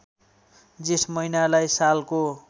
जेठ महिनालाई सालको